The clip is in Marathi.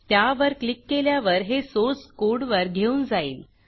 त्यावर क्लिक केल्यावर हे सोर्स कोडवर घेऊन जाईल